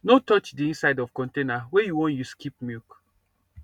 no touch the inside of container wey you wan use keep milk